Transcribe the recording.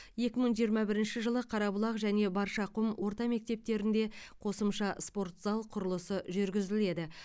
екі мың жиырма бірінші жылы қарабұлақ және баршақұм орта мектептерінде қосымша спорт зал құрылысы жүргізіледі